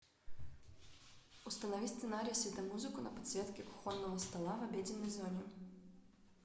установи сценарий светомузыку на подсветке кухонного стола в обеденной зоне